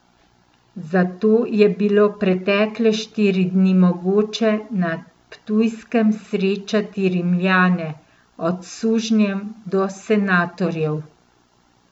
Zato je bilo pretekle štiri dni mogoče na ptujskem srečati Rimljane, od sužnjev do senatorjev.